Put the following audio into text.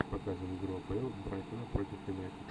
показывай игру апл брайтона против юнайтед